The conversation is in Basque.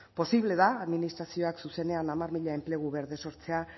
posible da administrazioak zuzenean hamar mila enplegu berde sortzea